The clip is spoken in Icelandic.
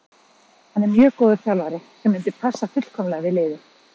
Hann er mjög góður þjálfari sem myndi passa fullkomlega við liðið.